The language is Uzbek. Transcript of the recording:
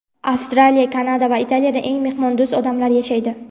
Avstraliya, Kanada va Italiyada eng mehmondo‘st odamlar yashaydi.